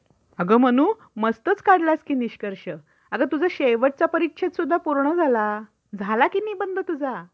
अगं मनु मस्तच काढलास कि निष्कर्ष. अगं तुझा शेवटचा परिच्छेद पण पूर्ण झाला. झाला कि निबंध तुझा.